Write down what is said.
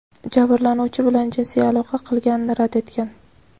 jabrlanuvchi bilan jinsiy aloqa qilganini rad etgan.